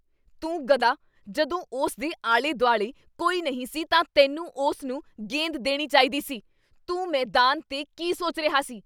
ਤੂੰ ਗਧਾ। ਜਦੋਂ ਉਸ ਦੇ ਆਲੇ ਦੁਆਲੇ ਕੋਈ ਨਹੀਂ ਸੀ ਤਾਂ ਤੈਨੂੰ ਉਸ ਨੂੰ ਗੇਂਦ ਦੇਣੀ ਚਾਹੀਦੀ ਸੀ। ਤੂੰ ਮੈਦਾਨ 'ਤੇ ਕੀ ਸੋਚ ਰਿਹਾ ਸੀ?